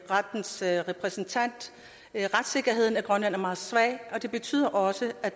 rettens repræsentant retssikkerheden i grønland er meget svag og det betyder også at